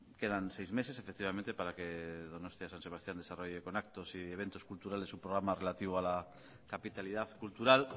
quedan seis meses efectivamente para que donostia san sebastián desarrolle con actos y eventos culturales un programa relativo a la capitalidad cultural